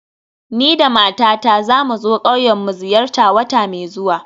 Ni da matata za mu zo ƙauyen mu ziyarta wata mai zuwa